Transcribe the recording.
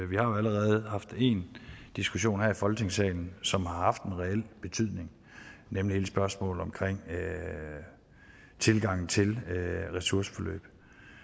vi har allerede haft én diskussion her i folketingssalen som har haft en reel betydning nemlig hele spørgsmålet omkring tilgangen til ressourceforløb